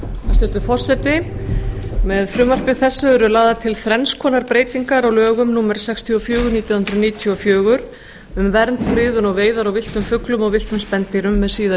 hæstvirtur forseti með frumvarpi þessu eru lagðar til þrenns konar breytingar á lögum númer sextíu og fjögur nítján hundruð níutíu og fjögur um vernd friðun og veiðar á villtum fuglum og villtum spendýrum með síðari